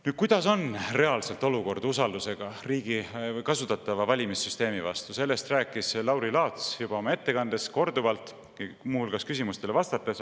Nüüd, milline on reaalselt olukord usaldusega riigi kasutatava valimissüsteemi vastu, sellest rääkis Lauri Laats oma ettekandes korduvalt ja ka küsimustele vastates.